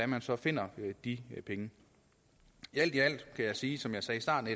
man så finder de penge alt i alt kan jeg sige som jeg sagde i starten